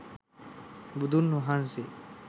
බුදුන් වහන්සේ